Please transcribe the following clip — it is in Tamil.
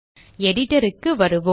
Editor க்கு வருவோம்